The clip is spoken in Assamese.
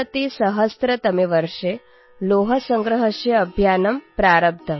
२०१३तमे वर्षे लौहसंग्रहस्य अभियानम् प्रारब्धम्